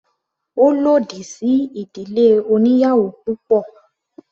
Ó lòdì sí ìdílé oníyàwò púpọ̀.